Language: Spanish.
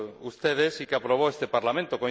ustedes y que aprobó este Parlamento.